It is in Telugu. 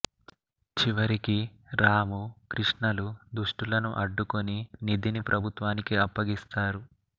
చివరికి రాము కృష్ణలు దుష్టులను అడ్డుకుని నిధిని ప్రభుత్వానికి అప్పగిస్తారు